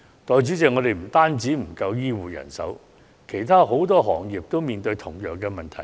代理主席，我們不單欠缺醫護人員，其實很多行業亦正面對同樣問題。